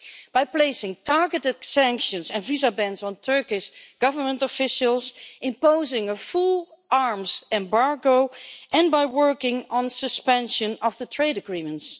by placing targeted sanctions and visa bans on Turkish government officials, imposing a full arms embargo and by working on suspension of the trade agreements.